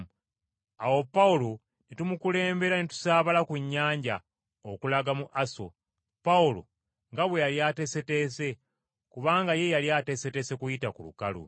Awo Pawulo ne tumukulembera ne tusaabala ku nnyanja okulaga mu Aso, Pawulo nga bwe yali ateeseteese, kubanga ye yali ateeseteese kuyita ku lukalu.